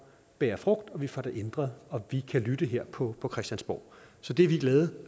bærer frugt og vi får det ændret og vi kan lytte her på på christiansborg så det er vi glade